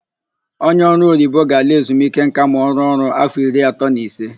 Onye ọrụoyibo ga-ala ezumike nka ma ọ rụruo ọrụ áfọ iri atọ na ise.